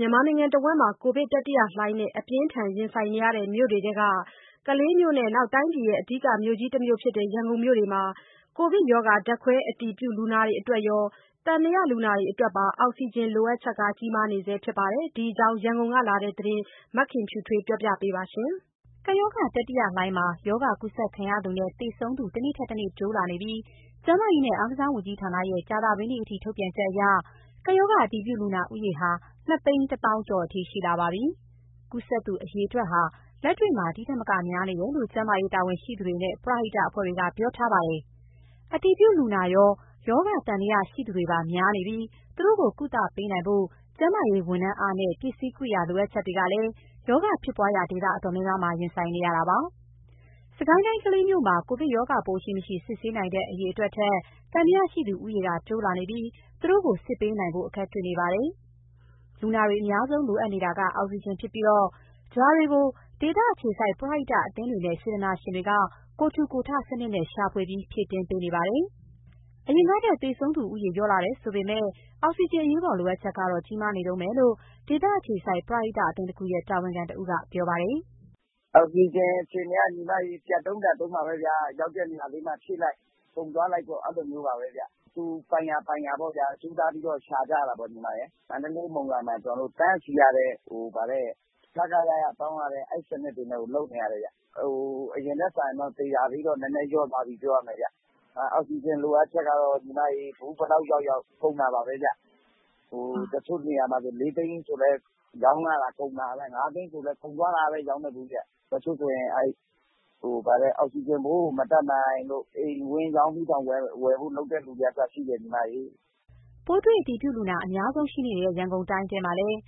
မြန်မာနိုင်ငံတဝန်း ကိုဗစ်တတိယလှိုင်းနဲ့ အပြင်းအထန်ရင်ဆိုင်နေရတဲ့ မြို့တွေထဲက ကလေးမြို့နဲ့ တိုင်းပြည်ရဲ့ အဓိကမြို့ကြီးတမြို့ဖြစ်တဲ့ ရန်ကုန်မြို့တို့မှာ ကိုဗစ်ရောဂါ ဓာတ်ခွဲအတည်ပြု လူနာတွေအတွက်ရော၊ သံသယလူနာတွေအတွက်ပါ အောက်ဆီဂျင်လိုအပ်ချက် ကြီးမားနေဆဲရှိပါတယ်။ ဒီအကြောင်း ရန်ကုန်ကလာတဲ့သတင်းကို မခင်ဖြူထွေးကပြောပြပါမယ်။ ကပ်ရောဂါတတိယလှိုင်းမှာ ရောဂါကူးစက်ခံရသူနဲ့ သေဆုံးသူ တနေ့တက်တနေ့ တိုးလာနေပြီး ကျန်းမာရေးနဲ့ အားကစားဝန်ကြီးဌာနရဲ့ ကြာသပတေးညအထိ ထုတ်ပြန်ချက်အရ ကပ်ရောဂါအတည်ပြုလူနာဦးရေဟာ ၂၁၀,၀၀၀ ကျော်အထိ ရှိလာပါပြီ။ ကူးစက်သူအရေအတွက်ဟာ လက်တွေ့မှာ ဒီ့ထက်မကများနေတယ်လို့ ကျန်းမာရေးတာဝန်ရှိသူတွေနဲ့ ပရဟိတအဖွဲ့တွေက ပြောထားပါတယ်။ အတည်ပြုလူနာရော၊ ရောဂါသံသယရှိသူတွေပါ များနေပြီး သူတို့ကို ကုသပေးနိုင်ဖို့ ကျန်းမာရေးဝန်ထမ်းအားနဲ့ ပစ္စည်းကိရိယာ လိုအပ်ချက်တွေကလည်း ရောဂါဖြစ်ပွားရာဒေသ တော်တော်များများမှာ ရင်ဆိုင်နေရတာပါ။ စစ်ကိုင်းတိုင်း၊ ကလေးမြို့နယ်မှာ ကိုဗစ်ရောဂါပိုး ရှိ၊ မရှိ စစ်ဆေးနိုင်တဲ့ အရေအတွက်ထက် သံသယရှိသူဦးရေက တိုးလာနေပြီး သူတို့ကိုစစ်ဆေးပေးနိုင်ဖို့ အခက်တွေ့နေပါတယ်။ လူနာတွေ အများဆုံးလိုအပ်နေတာက အောက်ဆီဂျင်ဖြစ်ပြီးတော့ ဒါတွေကို ဒေသအခြေစိုက် ပရဟိတအသင်းတွေနဲ့ စေတနာရှင်တွေက ကိုယ်ထူကိုယ်ထစနစ်နဲ့ ရှာဖွေပြီးဖြည့်တင်းပေးနေပါတယ်။ အရင်ကထက် သေဆုံးသူဦးရေ လျော့လာတယ်ဆိုပေမယ့် အောက်ဆီဂျင်အရေးပေါ်လိုအပ်ချက်ကတော့ ကြီးမားနေတုံးပဲလို့ ဒေသအခြေစိုက် ပရဟိတအသင်းတခုရဲ့ တာဝန်ခံတဦးက ပြောပါတယ်။ "အောက်စီဂျင်အခြေအနေက ပြတ်တုန်းလတ်တုန်းပါပဲဗျာ။ ရောက်တဲ့နေရာလေးမှာ ဖြည့်လိုက်၊ ကုန်သွားလိုက် အဲလိုမျိုးပါဗျ။ သူဆိုင်ရာ ပိုင်ရာပေါ့ဗျာ ကြိုးစားပြီးတော့ ရှာကြတာပေါ့။ မန္တလေး၊ မုံရွာမှာဆို တန်းစီရတယ်၊ ခခယယတောင်းရတယ်၊ အဲစနစ်တွေနဲ့ကို လုပ်နေရတာဗျ။ အရင်ထက်စာရင် သေတာတော့ နည်းနည်းလျော့သွားပြီ ပြောရမယ်ဗျ။ အောက်စီဂျင်လိုအပ်ချက်ကတော့ ဘူးဘယ်လောက်ရောက်ရောက် ကုန်တာပါပဲဗျ။ တချို့နေရာမှာဆို ၄ သိန်းဆိုလည်း ရောင်းရတာ ကုန်တာပါပဲ။ ၅ သိန်းဆိုလည်း ကုန်သွားတာပဲ၊ ရောင်းတဲ့ဘူးတွေက။ တချို့ဆိုရင် အောက်စီဂျင်ဖိုးကို မတတ်နိုင်လို့ အိမ်ဝင်းရောင်းပြီးတောင် ဝယ်ဖို့လုပ်တဲ့သူတွေကအစရှိတယ်။" ပိုးတွေ့အတည်ပြုလူနာ အများဆုံးရှိနေတဲ့ ရန်ကုန်တိုင်းထဲမှာလည်း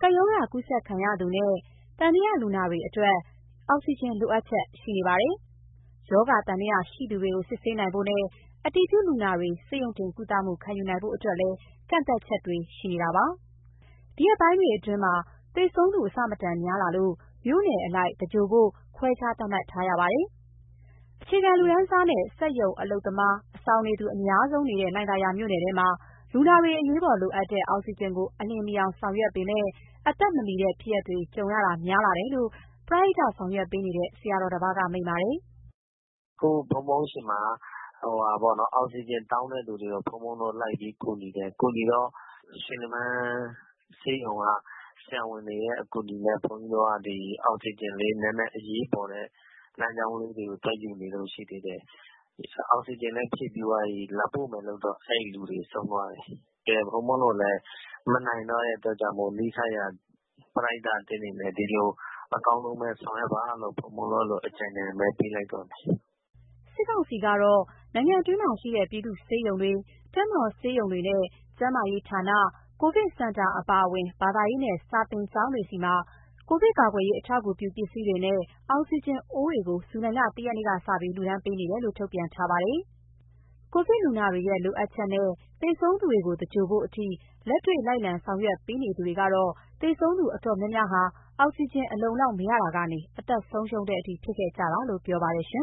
ကပ်ရောဂါကူးစက်ခံရသူနဲ့ သံသယလူနာတွေအတွက် အောက်စီဂျင်လိုအပ်ချက် ရှိနေပါတယ်။ ရောဂါသံသယရှိသူတွေ စစ်ဆေးနိုင်ဖို့နဲ့ အတည်ပြုလူနာတွေ ဆေးရုံတင်ကုသမှု ခံယူနိုင်ဖို့အတွက်လည်း ကန့်သတ်ချက်တွေရှိနေပါတယ်။ ဒီရက်ပိုင်းတွေမှာ သေဆုံးသူအဆမတန်များလာလို့ မြို့နယ်အလိုက် သင်္ဂြိုလ်ဖို့ ခွဲခြားသတ်မှတ်ထားရပါတယ်။ အခြေခံလူတန်းစားနဲ့ စက်ရုံလုပ်သား၊ အဆောင်နေသူ အများဆုံးရှိနေတဲ့ လှိုင်သာယာမြို့နယ်ထဲမှာ လူနာတွေအရေးပေါ် လိုအပ်တဲ့ အောက်ဆီဂျင်ကို အလျင်မီအောင်ဆောင်ရွက်ပေမယ့် အသက်မမီတဲ့ဖြစ်ရပ်တွေ ကြုံရတာများလာတယ်လို့ ပရဟိတဆောင်ရွက်ပေးနေတဲ့ ဆရာတော်တပါးက မိန့်ပါတယ်။ "အခု ဘုန်းဘုန်းဆီမှာ အောက်ဆီဂျင်တောင်းတဲ့သူတွေကို လိုက်ပြီးကူညီတော့ ရွှေလင်ပန်းဆေးရုံက ဆရာဝန်တွေရဲ့ အကူအညီနဲ့ အရေးပေါ်လိုနေသူတွေအတွက် သွားယူနေတုန်းရှိသေးတယ်၊ အောက်ဆီဂျင်လည်း ဖြည့်ပြီးသွားပြီ၊ လာပို့မယ်လည်းလုပ်တော့ အဲလူတွေ ဆုံးသွားတယ်။ ဘုန်းဘုန်းတို့လည်း မနိုင်တော့တဲ့အတွက်ကြောင့်မို့ နီးစပ်ရာ ပရဟိတအသင်းတွေနဲ့ အကောင်းဆုံးပဲဆောင်ရွက်ပါလို့ အကြံဉာဏ်ပဲပေးလိုက်တော့တယ်။" စစ်ကောင်စီကတော့ နိုင်ငံတွင်းမှာရှိတဲ့ ပြည်သူ့ဆေးရုံတွေ၊ တပ်မတော်ဆေးရုံတွေနဲ့ ကျန်းမာရေးဌာန၊ ကိုဗစ်စင်တာအပါအဝင် ဘာသာရေးနဲ့ စာသင်ကျောင်းတွေဆီ ကိုဗစ်ကာကွယ်ရေး အထောက်အကူပြုပစ္စည်းတွေနဲ့ အောက်စီဂျင်အိုးတွေကို ဇူလိုင်လ ၁ ရက်နေ့ကစပြီး လှူဒါန်းပေးနေတယ်လို့ ထုတ်ပြန်ထားပါတယ်။ ကိုဗစ်လူနာတွေရဲ့ လိုအပ်ချက်နဲ့ သေဆုံးသူတွေကို သင်္ဂြိုလ်ဖို့အထိ လက်တွေ့ လိုက်လံ ဆောင်ရွက်ပေးနေသူတွေကတော့ သေဆုံးသူတော်တော်များများဟာ အောက်စီဂျင်အလုံအလောက် မရတာကနေ အသက်ဆုံးရှုံးတဲ့အထိ ဖြစ်ခဲ့ကြတာလို့ ပြောပါတယ်။